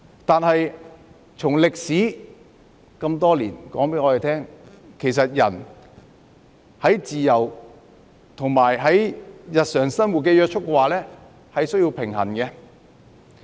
但是，這麼多年的歷史告訴我們，其實人的自由與日常生活的約束，兩者是需要平衡的。